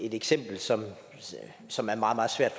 eksempel som som er meget meget svært